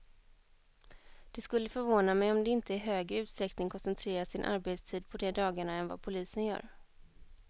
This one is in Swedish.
Det skulle förvåna mig om de inte i högre utsträckning koncentrerar sin arbetstid på de dagarna än vad polisen gör.